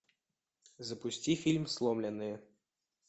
запусти фильм сломленные